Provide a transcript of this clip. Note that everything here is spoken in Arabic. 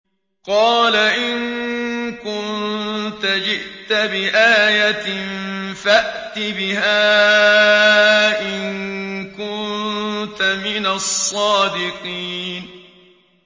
قَالَ إِن كُنتَ جِئْتَ بِآيَةٍ فَأْتِ بِهَا إِن كُنتَ مِنَ الصَّادِقِينَ